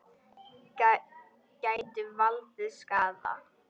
Gætu valdið skaða.